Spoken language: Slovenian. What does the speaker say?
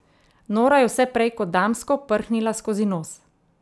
Nora je vse prej kot damsko prhnila skozi nos.